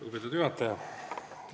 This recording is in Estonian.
Lugupeetud juhataja!